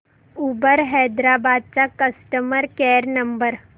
Uber Hyderabad चा customer care number